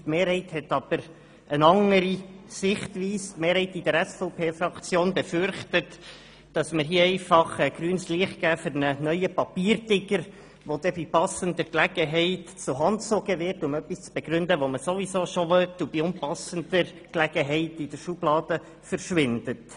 Die Mehrheit hat aber eine andere Sichtweise und befürchtet, dass wir hier einfach grünes Licht für einen neuen Papiertiger geben, der dann bei passender Gelegenheit herangezogen wird um etwas zu begründen, das man ohnehin bereits hat und der bei unpassender Gelegenheit in der Schublade verschwindet.